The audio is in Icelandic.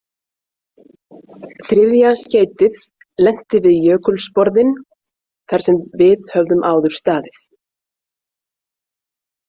Þriðja skeytið lenti við jökulsporðinn þar sem við höfðum áður staðið.